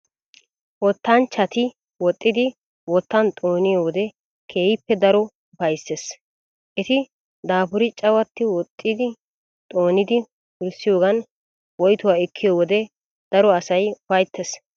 Wottanchchati woxxidi wottan xooniyoo wode keehippe daro upayisses. Eti daapuri cawaxxi woxxi xoonidi wurssiyoogan woyituwaa ekkiyoo wode daro asayi ufayittes.